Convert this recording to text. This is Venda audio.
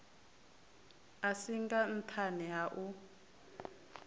a singa nṱhani ha u